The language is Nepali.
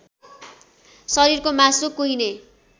शरीरको मासु कुहिने